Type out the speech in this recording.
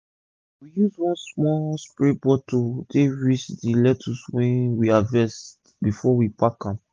we use one small spray bottle take rinse d lecttuce wey we harvest before we pack am